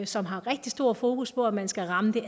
som har rigtig stor fokus på at man skal ramme det